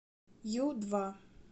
ю два